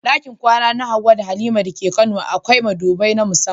Dakin kwana na Hawwa da Halima dake kano akwai madubi na musamman.